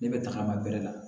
Ne bɛ tagama bɛrɛ la